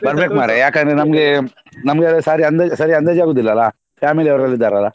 ಬರ್ಬೇಕು ಮಾರ್ರೆ ಯಾಕಂದ್ರೆ ನಮ್ಗೆ ನಮ್ಗೆ ಸರಿ ಅಂದಾಜ್ ಸರಿ ಅಂದಾಜ್ ಆಗುದಿಲ್ಲ ಅಲ್ಲಾ family ಅವ್ರೆಲ್ಲ ಇದ್ದಾರೆ ಅಲ್ಲಾ.